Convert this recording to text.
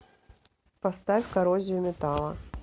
поставь коррозию металла